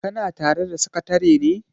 kana tare da sakatare ne?